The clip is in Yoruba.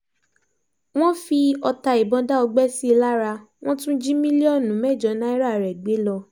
wọ́n fi ọta ìbọn dá ọgbẹ́ sí i lára wọn tún jí mílíọ̀nù mẹ́jọ náírà rẹ̀ gbé lọ